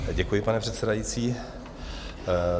Děkuji, pane předsedající.